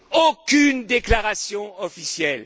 Aucune déclaration officielle.